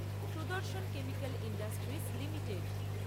Sudarshan chemical industries limited